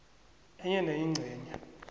enye nenye ingcenye